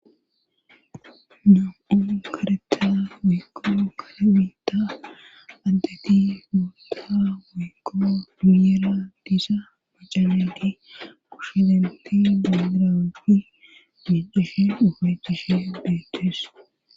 num7un kareta wiikkoo kala mita addeti muta weykko duuyeera diisa bacaledi kushshedenti digiranfi diiceshe dufecishe deettees